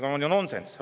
See on ju nonsenss.